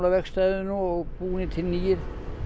vegstæðinu og búnir til nýir